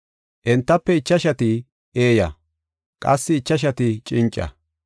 Entafe ichashati eeya, qassi ichashati cinca.